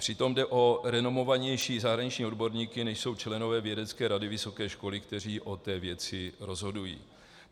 Přitom jde o renomovanější zahraniční odborníky, než jsou členové vědecké rady vysoké školy, kteří o té věci rozhodují.